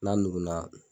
N'a nugu na